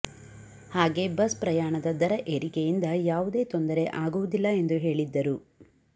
ಹಾಗೇ ಬಸ್ ಪ್ರಯಾಣದ ದರ ಏರಿಕೆಯಿಂದ ಯಾವುದೇ ತೊಂದರೆ ಆಗುವುದಿಲ್ಲ ಎಂದು ಹೇಳಿದ್ದರು